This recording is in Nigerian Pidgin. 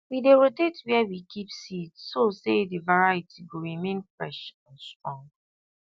we dey rotate where we keep seed so say the variety go remain fresh and strong